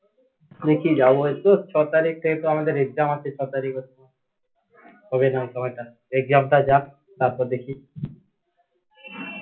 দেখি যাব এই তো ছ তারিখ থেকে তো আমাদের exam আছে ছ তারিখ হবে না সময় টা exam টা যাক তারপর দেখি